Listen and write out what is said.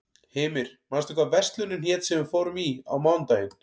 Hymir, manstu hvað verslunin hét sem við fórum í á mánudaginn?